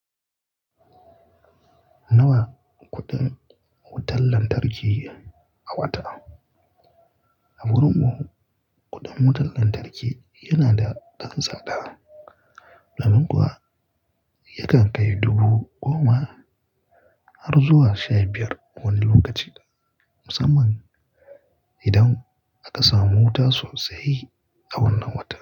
Nawa kuɗin wutar lantarki a wata? A birni kuɗin wutar lantarki yana da ɗan tsada, domin kuwa yakan kai dubu goma har zuwa sha biyar wani lokaci, musamman idan aka samu wuta sosai a wannan watan.